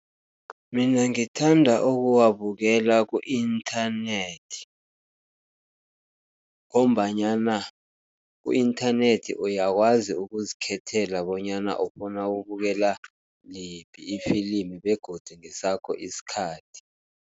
Mina ngithanda ukuwabukela ku-inthanethi, ngombanyana ku-inthanethi uyakwazi ukuzikhethela bonyana ufuna ukubukela liphi ifilimi, begodu ngesakho isikhathi.